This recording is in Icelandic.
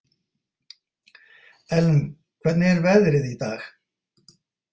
Ellen, hvernig er veðrið í dag?